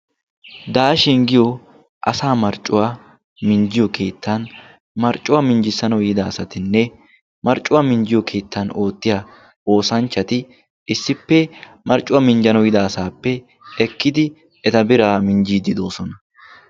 "daashin" giyo asa marccuwaa minjjiyo keettan marccuwaa minjjissano yiida asatinne marccuwaa minjjiyo keettan oottiya oosanchchati issippe marccuwaa minjjano yiida asaappe ekkidi eta biraa minjjiiddi doosona.